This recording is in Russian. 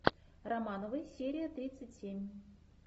романовы серия тридцать семь